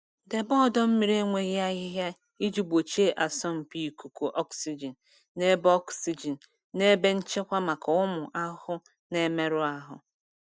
Debe ọdọ mmiri enweghị ahịhịa iji gbochie asọmpi ikuku oxygen na ebe oxygen na ebe nchekwa maka ụmụ ahụhụ na-emerụ ahụ.